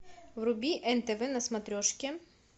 вруби нтв на смотрешке